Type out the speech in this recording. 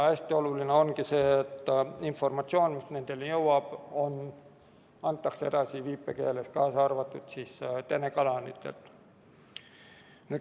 Hästi oluline ongi see, et informatsioon, mis nendeni jõuab, antakse edasi viipekeeles, kaasa arvatud telekanalites.